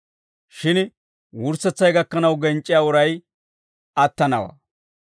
Shin wurssetsay gakkanaw genc'c'iyaa uray attanawaa.